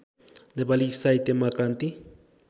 नेपाली साहित्यमा क्रान्ति